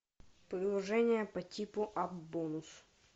приложение по типу аппбонус